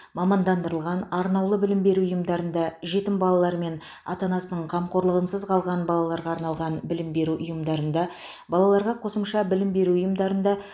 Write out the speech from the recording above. мамандандырылған арнаулы білім беру ұйымдарында жетім балалар мен ата анасының қамқорлығынсыз қалған балаларға арналған білім беру ұйымдарында балаларға қосымша білім беру ұйымдарында